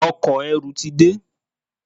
Ọkọ̀-erù ti de.